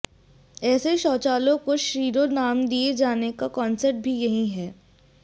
ऐसे शौचालयों को शीरो नाम दिए जाने का कॉन्सैप्ट भी यही है